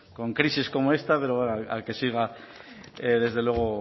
con crisis como esta pero bueno a que siga desde luego